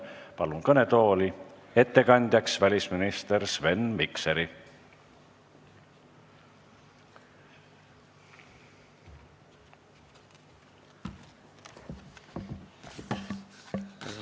Palun ettekandeks kõnetooli välisminister Sven Mikseri!